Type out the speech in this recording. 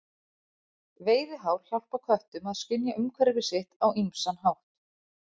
Veiðihár hjálpa köttum að skynja umhverfi sitt á ýmsan hátt.